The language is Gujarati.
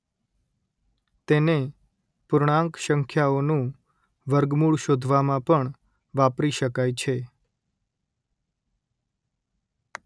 તેને પૂર્ણાંક સંખ્યાઓનું વર્ગમૂળ શોધવામાં પણ વાપરી શકાય છે